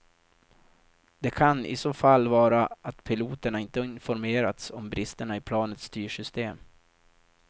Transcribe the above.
Det kan i så fall vara att piloterna inte informerats om bristerna i planets styrsystem.